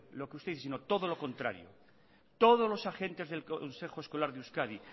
lo que ustedes sino todo lo contrario todos los agentes del consejo escolar de euskadi